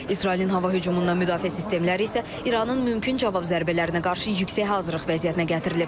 İsrailin hava hücumundan müdafiə sistemləri isə İranın mümkün cavab zərbələrinə qarşı yüksək hazırlıq vəziyyətinə gətirilib.